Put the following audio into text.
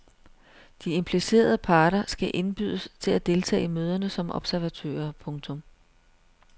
De implicerede parter skal indbydes til at deltage i møderne som observatører. punktum